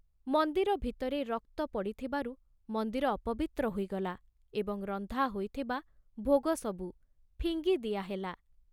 ମନ୍ଦିର ଭିତରେ ରକ୍ତ ପଡ଼ିଥିବାରୁ ମନ୍ଦିର ଅପବିତ୍ର ହୋଇଗଲା ଏବଂ ରନ୍ଧା ହୋଇଥିବା ଭୋଗ ସବୁ ଫିଙ୍ଗି ଦିଆହେଲା।